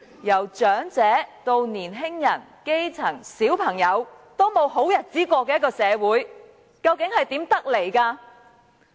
由長者至年青人、基層、小朋友也沒有好日子過的一個社會，究竟是如何得來？